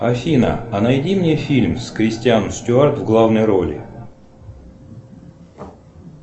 афина а найди мне фильм с кристиан стюарт в главной роли